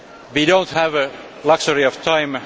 We do not have the luxury of time.